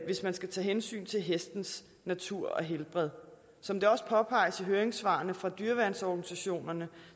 hvis man skal tage hensyn til hestens natur og helbred som det også påpeges i høringssvarene fra dyreværnsorganisationerne